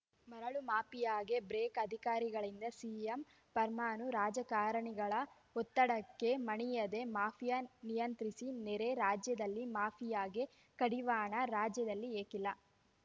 ಮರಳು ಮಾಫಿಯಾಗೆ ಬ್ರೇಕ್‌ ಅಧಿಕಾರಿಗಳಿಂದ ಸಿಎಂ ಫರ್ಮಾನು ರಾಜಕಾರಣಿಗಳ ಒತ್ತಡಕ್ಕೆ ಮಣಿಯದೇ ಮಾಫಿಯಾ ನಿಯಂತ್ರಿಸಿ ನೆರೆ ರಾಜ್ಯದಲ್ಲಿ ಮಾಫಿಯಾಗೆ ಕಡಿವಾಣ ರಾಜ್ಯದಲ್ಲಿ ಏಕಿಲ್ಲ